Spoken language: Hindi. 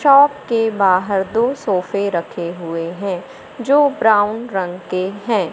शॉप के बाहर दो सोफे रखे हुए हैं जो ब्राउन रंग के हैं।